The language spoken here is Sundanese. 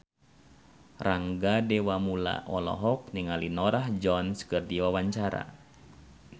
Rangga Dewamoela olohok ningali Norah Jones keur diwawancara